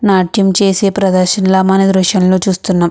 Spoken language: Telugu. నాట్యం చేసే ప్రదర్శనం ల మన ఈ దృశ్యం లో చూస్తున్నాం.